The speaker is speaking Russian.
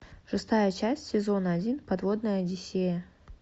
шестая часть сезона один подводная одиссея